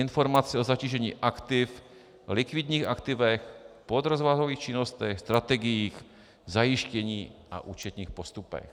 Informace o zatížení aktiv, likvidních aktivech, podrozvahových činnostech, strategiích zajištění a účetních postupech.